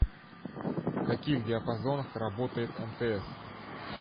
в каких диапазонах работает мтс